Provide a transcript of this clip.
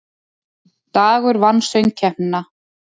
Dagur vann Söngkeppnina